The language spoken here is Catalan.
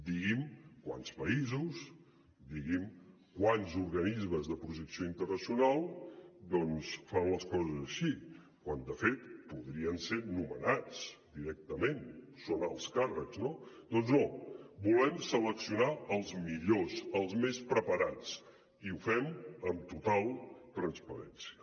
digui’m quants països digui’m quants organismes de projecció internacional fan les coses així quan de fet podrien ser nomenats directament són alts càrrecs no doncs no volem seleccionar els millors els més preparats i ho fem amb total transparència